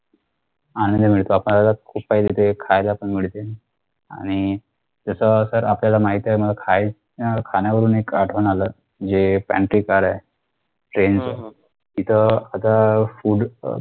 आनंद मिळतो आपण खूप काही तिथे खायला पण मिळते आणि तस तर आपल्याला माहित आहे ना खाय अं खाण्यावरून एक आठवण आलं जे pantry car आहे TRAIN च तिथं आता FOOD अह